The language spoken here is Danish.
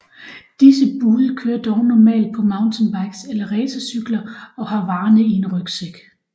Disse bude kører dog normalt på mountainbikes eller racercykler og har varerne i en rygsæk